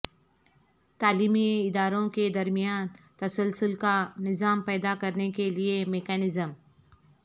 تعلیمی اداروں کے درمیان تسلسل کا نظام پیدا کرنے کے لئے میکانزم